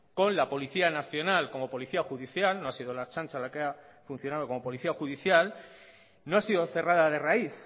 con la policía nacional como policía judicial no ha sido la ertzaintza la que ha funcionado como policía judicial no ha sido cerrada de raíz